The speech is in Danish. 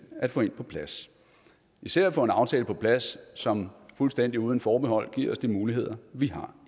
at få en på plads især at få en aftale på plads som fuldstændig og uden forbehold ville give os de muligheder vi har